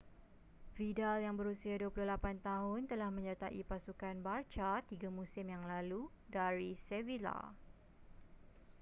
vidal yang berusia 28 tahun telah menyertai pasukan barça tiga musim yang lalu dari sevilla